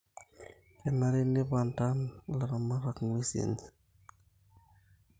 kenare neipadan ilaramatak inguesin enye